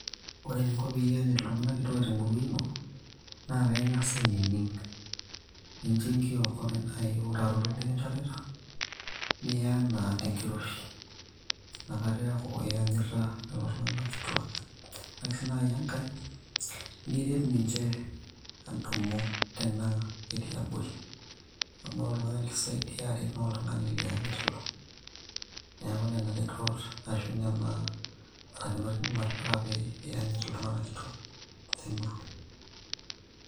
Ore eninko peyie iyanyit iltung'anak kituak temurua ino, na kaing'asa ainining'. Nincho enkiok ore nai eurato nikinchorita, niya enaa tenkiroshi. Nakata eeku iyanyita lelo tung'anak kituak. Ore ake si nai enkae, niret ninche adumu tenaa ketii abori. Amu ore oltung'ani lisaidia aret, na oltung'ani lianyit. Neeku nena retot ashu nena barakinot idim atipika pe iyanyit iltung'anak kituak temurua.